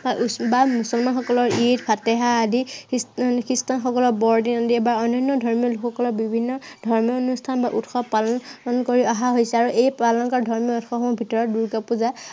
বা মুছলমানসকলৰ ঈদ ফাতেহা আদি, খ্ৰীষ্টানসকলৰ বৰদিন আদি বা অন্য়ান্য় ধৰ্মীয় লোকসকলৰ বিভিন্ন ধৰ্মনুষ্ঠান বা উৎসৱ পালন কৰি অহা হৈছে আৰু এই পালন কৰা ধৰ্মীয় উৎসৱসমূহৰ ভিতৰত দূৰ্গা পূজা